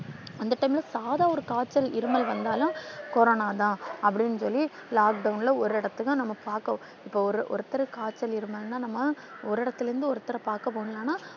அந்த time ல சாதா ஒரு காய்ச்சல் இருமல் வந்தாலும் கொரோனாதான் அப்படின்னு சொல்லி lockdown ல ஒரு இடத்தத்தான் நாம பாக்கவும். இப்ப ~ஒரு ~ ஒருத்தருக்கு காய்ச்சல் இருமல்னா நாம ஒரு இடத்துல இருந்து ஒருத்தரப் பாக்க போகணும்னா.